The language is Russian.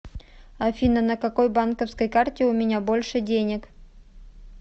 афина на какой банковской карте у меня больше денег